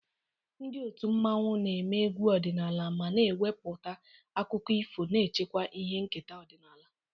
Ndị otu mmanwu na-eme egwu ọdịnala ma na-ewepụta akụkọ ifo, na-echekwa ihe nketa ọdịnala.